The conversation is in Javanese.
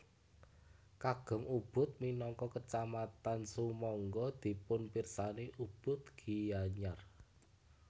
Kagem Ubud minangka kecamatan sumangga dipunpirsani Ubud Gianyar